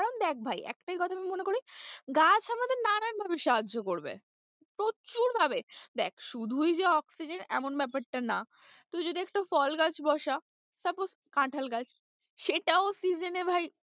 কারণ দেখ ভাই একটাই কথা আমি মনে করি, গাছ আমাদের নানান ভাবে সাহায্য করবে প্রচুর ভাবে, দেখ শুধুই যে oxygen এমন ব্যাপারটা না তুই যদি একটা ফল গাছ বসা suppose কাঁঠাল গাছ সেটাও season এ ভাই,